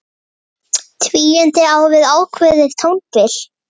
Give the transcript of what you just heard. Tvíund á við ákveðið tónbil.